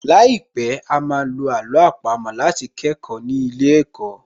Láìpẹ̀, á á ma lo àló àpamọ́ láti kẹ́kọ̀ọ́ ní ilé ẹ̀kọ́